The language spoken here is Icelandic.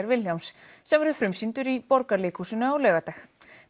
Vilhjálms sem verður frumsýndur í Borgarleikhúsinu á laugardag